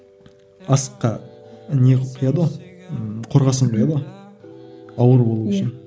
асыққа не құяды ғой ммм қорғасын құяды ғой ауыр болу үшін